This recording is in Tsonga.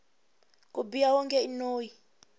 ku biha wonge i noyi